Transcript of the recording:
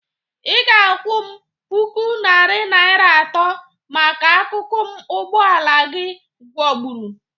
Ị ga-akwọ m puku narị naịra atọ maka akụkụ m ụgbọ ala gị gwọgbụru.